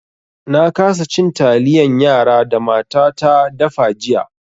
Na kasa cin taliyan yara da matata da fa jiya.